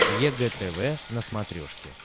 егэ тв на смотрешке